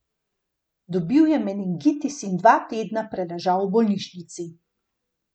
Dobil je meningitis in dva tedna preležal v bolnišnici.